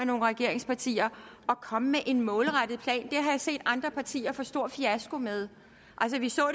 nogen regeringspartier at komme med en målrettet plan det jeg set andre partier få stor fiasko med altså vi så